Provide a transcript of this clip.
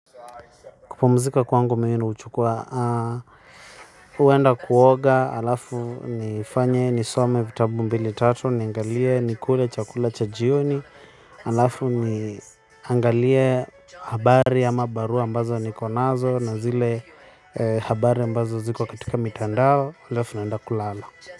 Kupumzika kwangu mimi huchukua uenda kuoga, alafu ni fanye, ni some vitabu mbili tatu, niangalie, ni kule, chakula, chajioni. Alafu niangalie habari ama barua ambazo niko nazo na zile habari ambazo ziko katika mitandao, alafu naenda kulala.